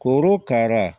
Korokara